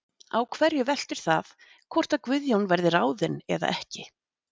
Á hverju veltur það hvort að Guðjón verði ráðinn eða ekki?